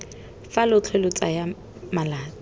fa lotlhe lo tsaya malatsi